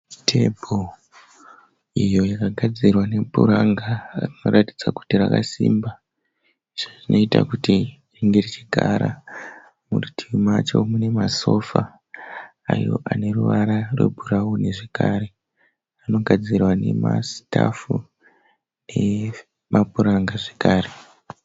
Tebho iyo yakagadzirwa nepuranga rakaratidza kuti rakasimba. Zvinoita kuti ringe richigara. Murutivi macho mune masofa ayo aneruvara rwe bhurauni zvekare anogadzirwa nema sitafu nemapuranga zvekare.